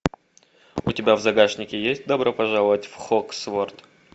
у тебя в загашнике есть добро пожаловать в хоксфорд